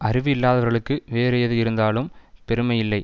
அறிவு இல்லாதவர்களுக்கு வேறு எது இருந்தாலும் பெருமையில்லை